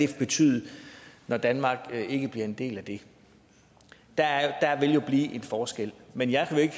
betyde at danmark ikke bliver en del af det der vil jo blive en forskel men jeg vil ikke